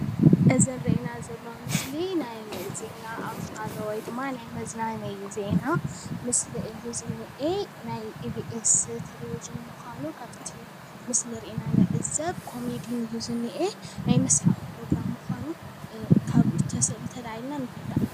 እዚ ዝርእየና ዘለዎ መስሊ ናይ ዜና ኣውተር ውይ ድማ ናይ መዝናነዪ ዜና ምስሊ እዩ ዝንሂ ናይ ኢቢአስ ቴለቨቪዥን ምዃኑ ካፍቲ ምስሊ ርኢና ንዕዘብ ኮሜዲ እዩ ዝንሂ ናይ መሳሓቂ ፕርግራም ካብ ተላዕልና ንርዳእ ።